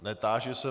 Netáži se.